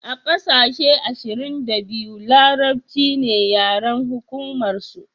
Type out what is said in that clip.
a ƙasashe ashirin da biyu larabci ne yaren hukumar su